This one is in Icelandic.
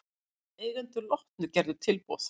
Eigendur Lotnu gerðu tilboð